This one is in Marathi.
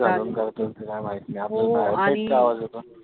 करतो की काय माहित नाही येतो.